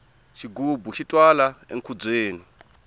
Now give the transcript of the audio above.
xigubu xi twala enkhubyeni